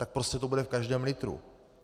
Tak prostě to bude v každém litru.